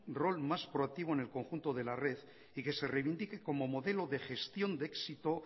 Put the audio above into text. rol más proactivo en el conjunto de la red y que se reivindique como modelo de gestión de éxito